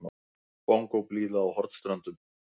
Bongóblíða á Hornströndum.